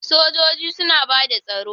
Sojoji suna bada tsaro.